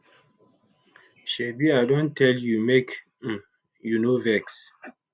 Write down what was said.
shebi i don tell you make um you no vex